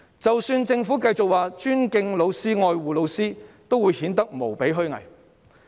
即使政府繼續表示尊敬老師及愛護老師，也只顯得無比虛偽。